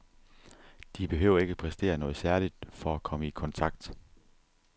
De behøver ikke præstere noget særligt for at komme i kontakt.